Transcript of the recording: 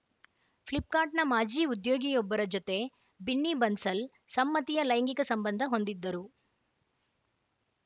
ಫ್ಲಿಪ್‌ಕಾರ್ಟ್‌ನ ಮಾಜಿ ಉದ್ಯೋಗಿಯೊಬ್ಬರ ಜತೆ ಬಿನ್ನಿ ಬನ್ಸಲ್‌ ಸಮ್ಮತಿಯ ಲೈಂಗಿಕ ಸಂಬಂಧ ಹೊಂದಿದ್ದರು